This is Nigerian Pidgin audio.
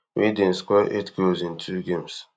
wey dem score eight goals in two games